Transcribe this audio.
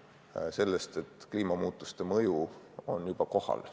–, et kliimamuutuste mõju on juba kohal.